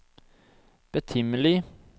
betimelig